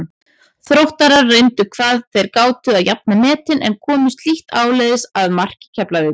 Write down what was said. Þróttarar reyndu hvað þeir gátu að jafna metin en komust lítt áleiðis að marki Keflavíkur.